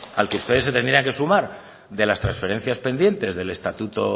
al que ustedes se tendrían que sumar de las transferencias pendientes del estatuto